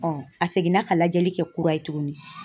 a seginna ka lajɛli kɛ kura ye tuguni.